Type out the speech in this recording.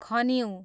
खनिउँ